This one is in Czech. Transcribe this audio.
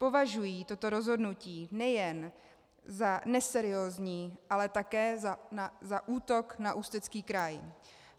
Považují toto rozhodnutí nejen za neseriózní, ale také za útok na Ústecký kraj.